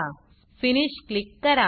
finish click करा